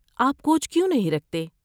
آپ کوچ کیوں نہیں رکھتے؟